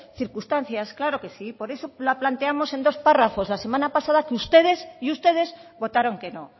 circunstancias claro que sí por eso la planteamos en dos párrafos la semana pasada que ustedes y ustedes votaron que no